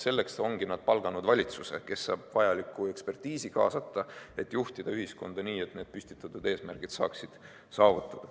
Selleks ongi nad palganud valitsuse, kes saab vajalikku ekspertiisi kaasata, et juhtida ühiskonda nii, et need püstitatud eesmärgid saaksid saavutatud.